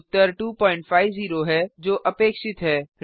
उत्तर 250 है जो अपेक्षित है